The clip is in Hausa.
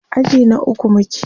aji na ukwu muke